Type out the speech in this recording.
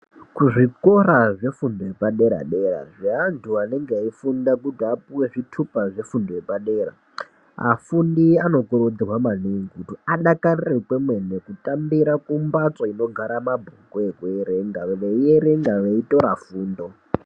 Kuzvikora zvefundo yepadera-dera, zveantu anenge eifunda kuti apuwe zvitupa zvefundo yepadera. Afundi anokurudzirwa maningi kuti adakarire kwemene kutambira kumbatso inogara mabhuku ekuerenga ekuerenga, eierenga eitora fundo.